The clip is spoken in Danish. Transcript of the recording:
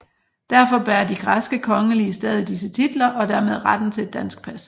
Derfor bærer de græske kongelige stadig disse titler og dermed retten til et dansk pas